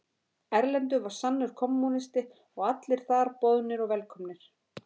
Erlendur var sannur kommúnisti og allir þar boðnir og velkomnir.